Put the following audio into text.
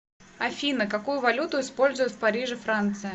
афина какую валюту используют в париже франция